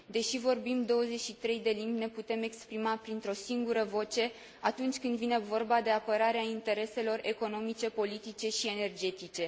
Deși vorbim 23 de limbi, ne putem exprima printr o singură voce atunci când vine vorba de apărarea intereselor economice, politice și energetice.